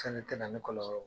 Fɛnɛ tɛna ni kɔlɔlɔ